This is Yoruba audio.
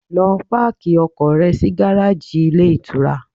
Lọ páàkì ọkọ̀ rẹ sí gáráàjì ilé ìtura!